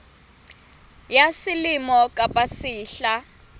ya selemo kapa ya sehla